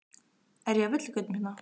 Er ég á villigötum hérna?